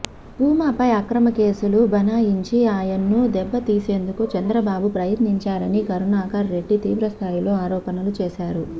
భూమాపై అక్రమ కేసులు బనాయించి ఆయన్ను దెబ్బతీసేందుకు చంద్రబాబు ప్రయత్నించారని కరుణాకర్ రెడ్డి తీవ్రస్థాయిలో ఆరోపణలు చేశారు